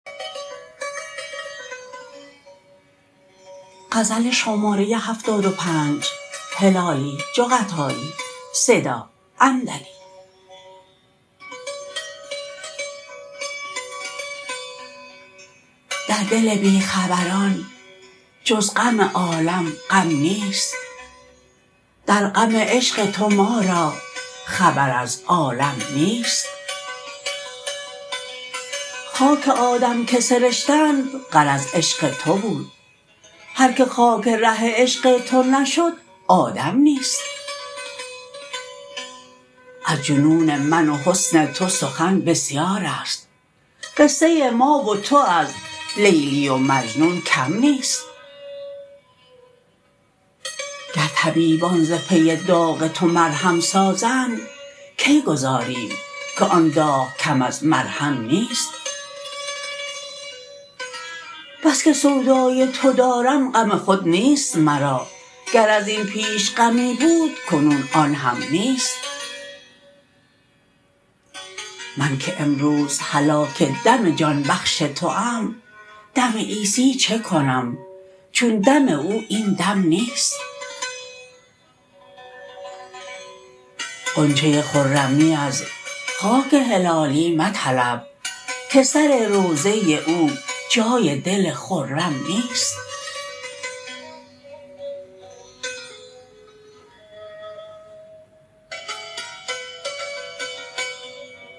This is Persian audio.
در دل بیخبران جز غم عالم غم نیست در غم عشق تو ما را خبر از عالم نیست خاک آدم که سرشتند غرض عشق تو بود هر که خاک ره عشق تو نشد آدم نیست از جنون من و حسن تو سخن بسیارست قصه ما و تو از لیلی و مجنون کم نیست گر طبیبان ز پی داغ تو مرهم سازند کی گذاریم که آن داغ کم از مرهم نیست بسکه سودای تو دارم غم خود نیست مرا گر ازین پیش غمی بود کنون آنهم نیست من که امروز هلاک دم جان بخش توام دم عیسی چه کنم چون دم او این دم نیست غنچه خرمی از خاک هلالی مطلب که سر روضه او جای دل خرم نیست